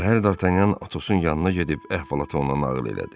Səhər Dartanyan Atosun yanına gedib əhvalatı ona nağıl elədi.